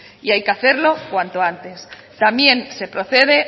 y hay que hacerlo cuanto antes también se procede